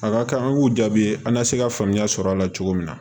A ka kan an k'u jaabi an ka se ka faamuya sɔrɔ a la cogo min na